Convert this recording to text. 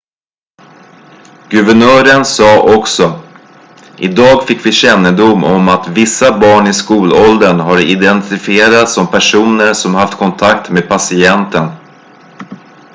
"guvernören sa också: "idag fick vi kännedom om att vissa barn i skolåldern har identifierats som personer som haft kontakt med patienten.""